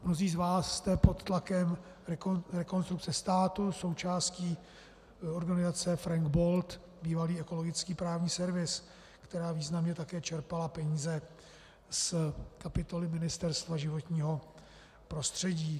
Mnozí z vás jste pod tlakem Rekonstrukce státu součástí organizace Frank Bold, bývalý Ekologický právní servis, která významně také čerpala peníze z kapitoly Ministerstva životního prostředí.